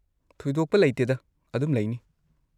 ꯊꯣꯏꯗꯣꯛꯄ ꯂꯩꯇꯦꯗꯥ, ꯑꯗꯨꯝ ꯂꯩꯅꯤ꯫